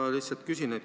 Ma lihtsalt küsin.